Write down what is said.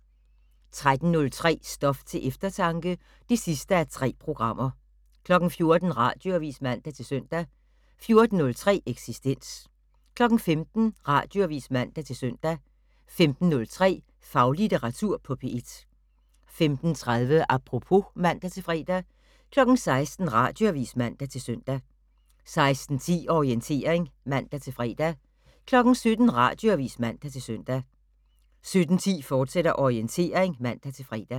13:03: Stof til eftertanke (3:3) 14:00: Radioavis (man-søn) 14:03: Eksistens 15:00: Radioavis (man-søn) 15:03: Faglitteratur på P1 15:30: Apropos (man-fre) 16:00: Radioavis (man-søn) 16:10: Orientering (man-fre) 17:00: Radioavis (man-søn) 17:10: Orientering, fortsat (man-fre)